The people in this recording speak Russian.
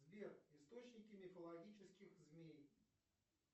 сбер источники мифологических змей